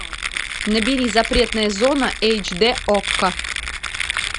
набери запретная зона эйч ди окко